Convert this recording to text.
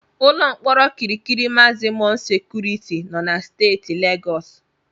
Ụlọ mkpọrọ Kirikiri magzimọm sekuriti nọ na Steeti Legọs.